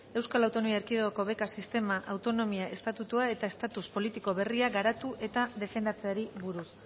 eaeko beka sistema autonomia estatutua eta estatus politiko berria garatu eta defendatzeari buruz